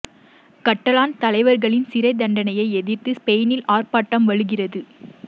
கட்டலான் தலைவர்களின் சிறைத் தண்டனையை எதிர்த்து ஸ்பெயினில் ஆர்ப்பாட்டம் வலுக்கிறது